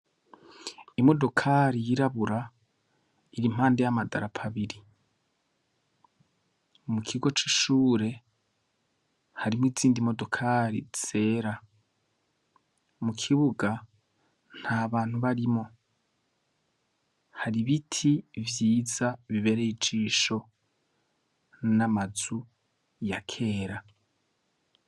Imodokari yirabura, ir'impande y'amadarapo abiri. Mukigo c'ishure hariy'izindi modokari zera. Mukibuga nt'abantu barimwo, har'ibiti vyiza bibereye ijisho, n'amazu ya kera.